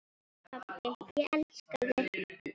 Pabbi, ég elska þig.